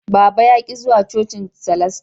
Baba ya ki zuwa cocin salastia